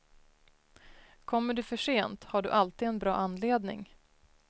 Kommer du försent har du alltid en bra anledning.